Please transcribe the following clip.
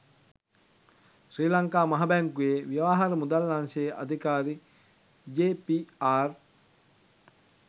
ශ්‍රී ලංකා මහ බැංකුවේ ව්‍යවහාර මුදල් අංශයේ අධිකාරි ජේ.පී.ආර්